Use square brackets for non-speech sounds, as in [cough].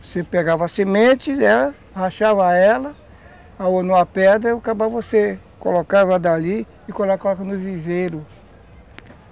Você pegava a semente, né, rachava ela, ralou numa pedra e [unintelligible] você colocava dali e colocava no viveiro.